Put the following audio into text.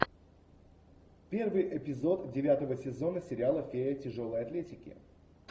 первый эпизод девятого сезона сериала фея тяжелой атлетики